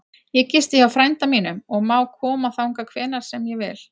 Ég gisti hjá frænda mínum og má koma þangað hvenær sem ég vil.